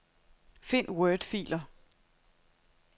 Find wordfiler.